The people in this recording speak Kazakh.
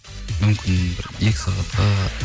мүмкін бір екі сағатқа